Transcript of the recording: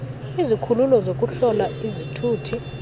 izikhululo zokuhlola izithuthi